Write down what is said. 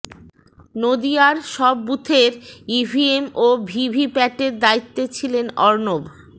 নদিয়ার সব বুথের ইভিএম ও ভিভিপ্যাটের দায়িত্বে ছিলেন অর্ণব